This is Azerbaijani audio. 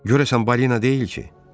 Görəsən balina deyil ki?